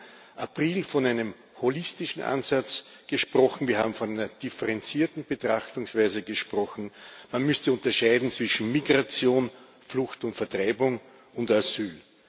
Wir haben im April von einem holistischen Ansatz gesprochen, wir haben von einer differenzierten Betrachtungsweise gesprochen, man müsste unterscheiden zwischen Migration, Flucht und Vertreibung und Asyl.